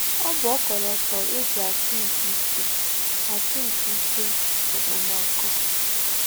Ọ bụ ọkọlọtọ e ji atụ nke ike atụ nke ike okpomọkụ.